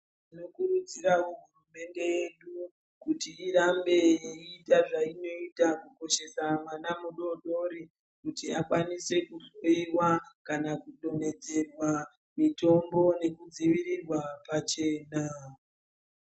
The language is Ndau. Tinokurudzirawo hurumende yedu kuti irambe iyiita zvainoita kukoshesa mwana mudori dori kuti akwanise kuhloyiwa kana kudonhedzerwa mitombo yekudzivirirwa pachena.